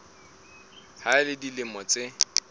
ha a le dilemo tse